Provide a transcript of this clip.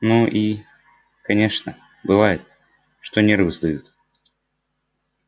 ну и конечно бывает что нервы сдают